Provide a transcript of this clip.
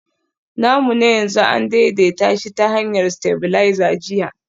namu na yanzu an daidaita shi ta hanyar stabilizer jiya